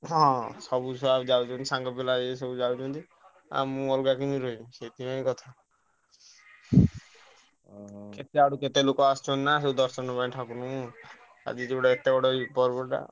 ହଁ ସବୁ ଛୁଆ ଯାଉଛନ୍ତି। ସାଙ୍ଗପିଲା ଏଇ ସବୁ ଯାଉଛନ୍ତି। ଆଉ ମୁଁ ଅଲଗା କେମିତି ରହିବି ସେଥିପାଇଁ କେତେଆଡୁ କେତେ ଲୋକ ଆସୁଛନ୍ତି ନା ସେଇ ଦର୍ଶନ କରିବାକୁ ଠାକୁରଙ୍କୁ। ଆଜି ଏତେ ବଡ ପର୍ବଟା।